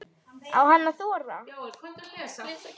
Á hann að þora?